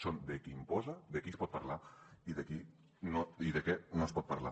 són de qui imposa de què es pot parlar i de què no es pot parlar